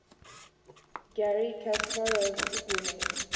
garry kasparov's winning